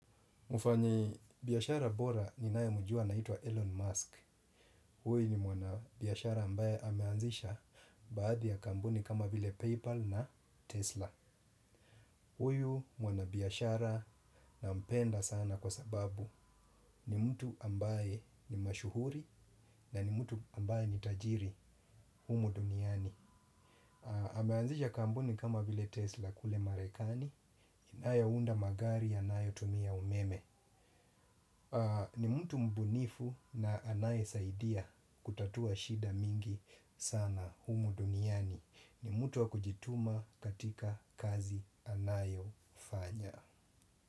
Mfanyibiashara bora ninayemjua anaitwa Elon Musk. Huyu ni mwanabiashara ambaye ameanzisha baadhi ya kampuni kama vile PayPal na Tesla. Huyu mwanabiashara nampenda sana kwa sababu ni mtu ambaye ni mashuhuri na ni mtu ambaye ni tajiri humu duniani. Ameanzisha kampuni kama vile Tesla kule Marekani. Inayounda magari yanayotumia umeme. Ni mtu mbunifu na anayesaidia kutatua shida mingi sana humu duniani. Ni mtu wa kujituma katika kazi anayofanya.